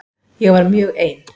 Ég var mjög ein.